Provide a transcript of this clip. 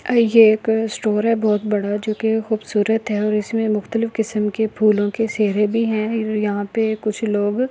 ये एक स्टोर है बहुत बड़ा जो के खूबसूरत है और इसमें मुख्तलिफ किस्म के फूलों के सेहरे भी हैं यहां पे कुछ लोग --